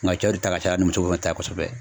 Nga cɛw de ta ka caya ni muso fɛnɛ ta ye kosɛbɛ.